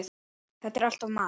Þetta er alltaf mat.